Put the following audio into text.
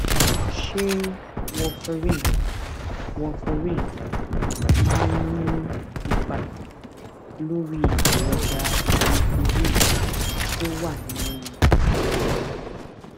ṣé warfarin warfarin máa ń nípa lórí èròjà hémoglobin tó wà nínú ara rẹ